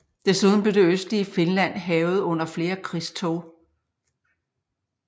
Desuden blev det østlige Finland hærget under flere krigstog